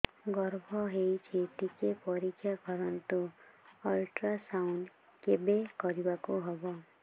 ଗର୍ଭ ହେଇଚି ଟିକେ ପରିକ୍ଷା କରନ୍ତୁ ଅଲଟ୍ରାସାଉଣ୍ଡ କେବେ କରିବାକୁ ହବ